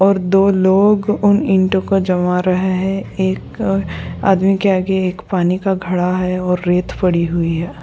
और दो लोग उन इंटो को जमा रहे है एक आदमी के आदमी के पानी गढ़ा है और रेत पडी हुई है।